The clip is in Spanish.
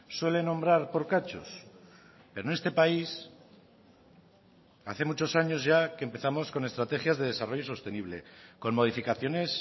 suele nombrar por cachos pero en este país hace muchos años ya que empezamos con estrategias de desarrollo sostenible con modificaciones